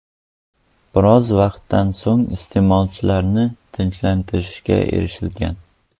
Biroz vaqtdan so‘ng isyonchilarni tinchlantirishga erishilgan.